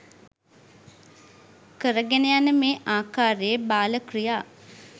කරගෙන යන මේ ආකාරයේ බාල ක්‍රියා